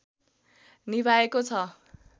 निभाएको छ